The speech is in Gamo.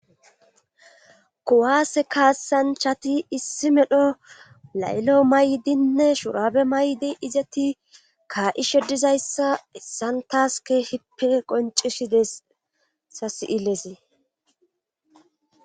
Kuwaase kaasanchati issi medho laylo maydinne shurabe maydi izeti kaa7ishedizayssa isantaske hippe qoncisi deessa si7ilesi.